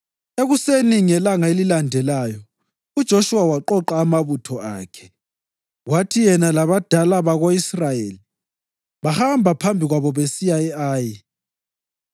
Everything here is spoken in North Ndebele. Ekuseni ngelanga elilandelayo uJoshuwa waqoqa amabutho akhe, kwathi yena labadala bako-Israyeli bahamba phambi kwabo besiya e-Ayi.